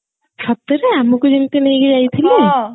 ସତରେ ଆମକୁ ଯେମତି ନେଇକି ଯାଇଥିଲେ